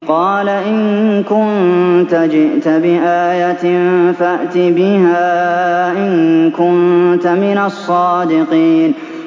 قَالَ إِن كُنتَ جِئْتَ بِآيَةٍ فَأْتِ بِهَا إِن كُنتَ مِنَ الصَّادِقِينَ